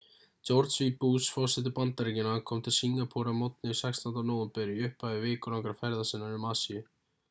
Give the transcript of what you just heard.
george w bush forseti bandaríkjanna kom til singapúr að morgni 16. nóvember í upphafi vikulangrar ferðar sinnar um asíu